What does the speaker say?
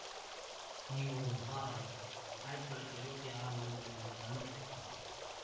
நீ ஒரு மகாராணி ஆயிரத்தி தொள்ளாயிரத்தி எழுவத்தி ஆறாம் ஆண்டு வெளிவந்த தமிழ் திரைப்படமாகும்